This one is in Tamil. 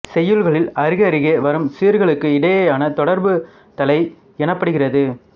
செய்யுள்களில் அருகருகே வரும் சீர்களுக்கு இடையேயான தொடர்பு தளை எனப்படுகின்றது